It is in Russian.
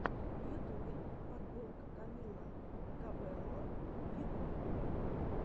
в ютубе подборка камила кабелло виво